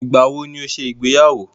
Ìgbà wọ ní ẹ ṣe ìgbéyàwó?